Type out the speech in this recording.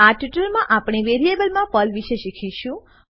આ ટ્યુટોરીયલમાં આપણે વેરીએબલ માં પર્લવિષે શીખીશું